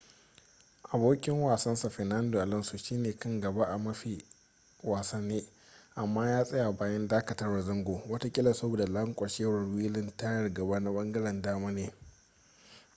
abokin wasansa fernando alonso shi ne kan gaba a mafi wasane amma ya tsaya bayan dakatawar zango watakila saboda lanƙwashewar wilin tayar gaba na ɓangaren dama ne